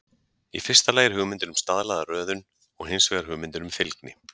Í fyrsta lagi er hugmyndin um staðlaða röðun, og hins vegar hugmyndin um fylgni.